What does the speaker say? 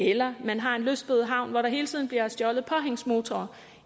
eller man har en lystbådehavn hvor der hele tiden bliver stjålet påhængsmotorer